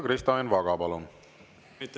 Kristo Enn Vaga, palun!